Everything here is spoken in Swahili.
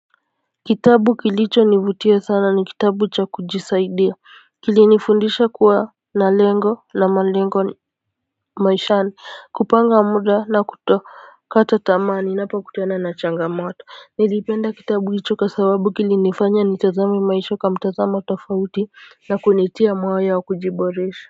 Kitabu kilichonivutia sana ni kitabu cha kujisaidia. Kili nifundisha kuwa na lengo na malengo maishani kupanga muda na kutokata tamaa ninapokutana na changamoto nilipenda kitabu hicho kwa sababu kilinifanya ni tazame maisha kwa mtazamo tofauti na kunitia moyo wa kujiboresha.